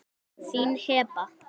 Þín, Heba.